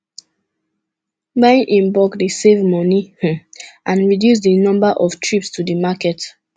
buying in bulk dey save money um and reduce di number of trips to di market